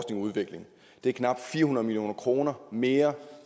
udvikling det er knap fire hundrede million kroner mere